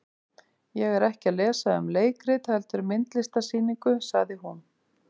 Ég er ekki að lesa um leikrit heldur myndlistarsýningu, sagði hún.